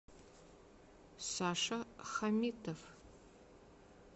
саша хамитов